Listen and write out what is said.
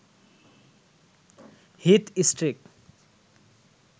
Heath Streak